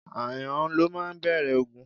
Ááyàn ló máa ń bẹ̀rẹ̀ ogun.